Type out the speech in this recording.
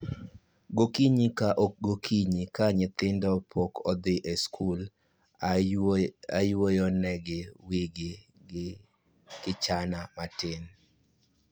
Gokinyi ka gokinyi ka nyithindo pok odhi e skul, ayuoyo ne gi wigi gi kichani matin